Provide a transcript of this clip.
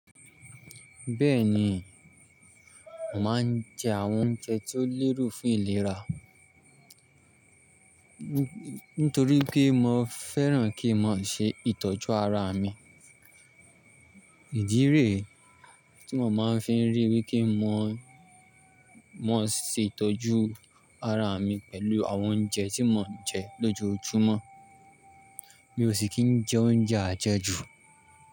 Bẹ́ẹ̀ni, mo maa n jẹ àwọn oúnjẹ tí ó lérò fún ìlera, nítorí pé mo fẹ́ràn kí màá ṣe ìtọ́jú ara mi. Ìdí re tí mo máa ń fi rí wipé mo ṣe ìtọ́jú ara mi pẹ̀lú àwọn oúnjẹ tí mò ń jẹ lójoojúmọ́, mi ò sì kí ń jẹ oúnjẹ àjẹjù.